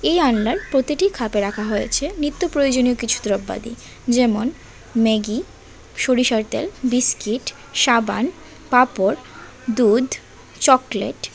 এ আলনার প্রতিটি খাপে রাখা হয়েছে নিত্য প্রয়োজনীয় কিছু দ্রব্যাদি যেমন ম্যাগি সরিষার তেল বিস্কিট সাবান পাপড় দুধ চকলেট ।